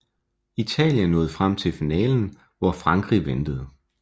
Italien nåede frem til finalen hvor Frankrig ventede